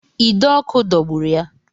Ide ọkụ dọgburu ya